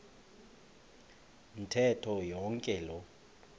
ntetho yonke loo